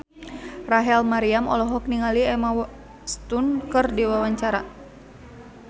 Rachel Maryam olohok ningali Emma Stone keur diwawancara